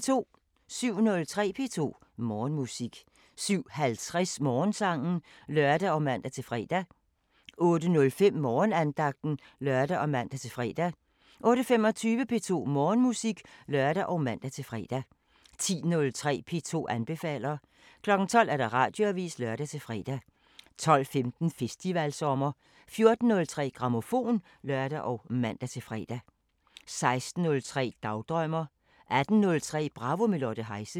07:03: P2 Morgenmusik 07:50: Morgensangen (lør og man-fre) 08:05: Morgenandagten (lør og man-fre) 08:25: P2 Morgenmusik (lør og man-fre) 10:03: P2 anbefaler 12:00: Radioavisen (lør-fre) 12:15: Festivalsommer 14:03: Grammofon (lør og man-fre) 16:03: Dagdrømmer 18:03: Bravo – med Lotte Heise